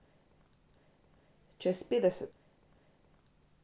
Čez petdeset!